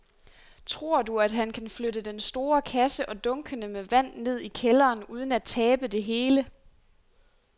Tror du, at han kan flytte den store kasse og dunkene med vand ned i kælderen uden at tabe det hele?